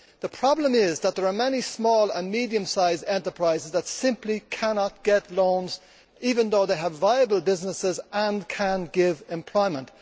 The problem is that there are many small and medium sized enterprises that simply cannot get loans, even though they have viable businesses and can give employment.